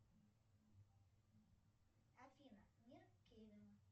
афина мир кевина